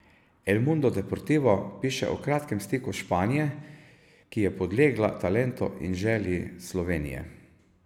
El Mundo Deportivo piše o kratkem stiku Španije, ki je podlegla talentu in želji Slovenije.